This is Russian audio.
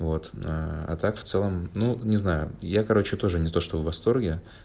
вот аа а так в целом ну не знаю я короче тоже не то что в восторге